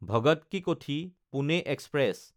ভগত কি কোঠি–পুনে এক্সপ্ৰেছ